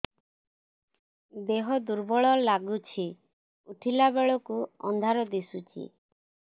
ଦେହ ଦୁର୍ବଳ ଲାଗୁଛି ଉଠିଲା ବେଳକୁ ଅନ୍ଧାର ଦିଶୁଚି